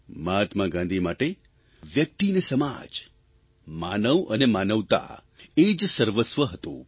મહાત્મા ગાંધી માટે વ્યક્તિ ને સમાજ માનવ અને માનવતા એ જ સર્વસ્વ હતું